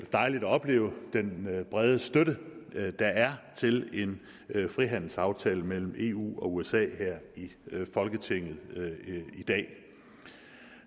dejligt at opleve den brede støtte der er til en frihandelsaftale mellem eu og usa her i folketinget i dag